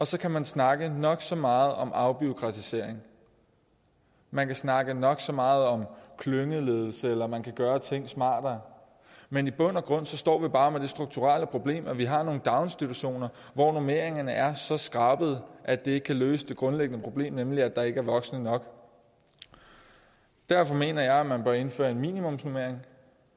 så kan man snakke nok så meget om afbureaukratisering man kan snakke nok så meget om klyngeledelse eller man kan gøre ting smartere men i bund og grund står vi bare med det strukturelle problem at vi har nogle daginstitutioner hvor normeringerne er så skrabede at det ikke kan løse det grundlæggende problem nemlig at der ikke er voksne nok derfor mener jeg at man bør indføre en minimumsnormering